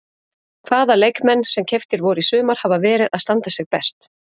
Hvaða leikmenn sem keyptir voru í sumar hafa verið að standa sig best?